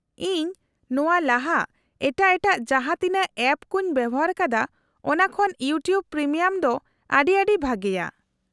-ᱤᱧ ᱱᱚᱶᱟ ᱞᱟᱦᱟ ᱮᱴᱟᱜ ᱮᱴᱟᱜ ᱡᱟᱦᱟᱸ ᱛᱤᱱᱟᱹᱜ ᱮᱯ ᱠᱚᱧ ᱵᱮᱣᱦᱟᱨ ᱟᱠᱟᱫᱟ ᱚᱱᱟ ᱠᱷᱚᱱ ᱤᱭᱩᱴᱤᱭᱩᱵ ᱯᱨᱤᱢᱤᱭᱟᱢ ᱫᱚ ᱟᱹᱰᱤ ᱟᱹᱰᱤ ᱵᱷᱟᱹᱜᱤᱭᱟ ᱾